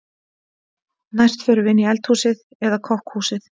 Næst förum við inn í eldhúsið eða kokkhúsið.